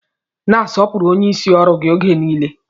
Na-asọpụrụ onyeisi ọrụ gị oge nile